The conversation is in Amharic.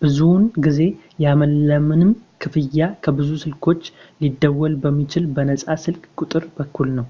ብዙውን ጊዜ ያለምንም ክፍያ ከብዙ ስልኮች ሊደውል በሚችል በነጻ ስልክ ቁጥር በኩል ነው